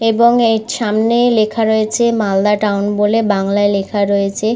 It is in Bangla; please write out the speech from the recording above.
এবং এর সামনে লেখা রয়েছে মালদা টাউন বলে বাংলায় লেখা রয়েছে।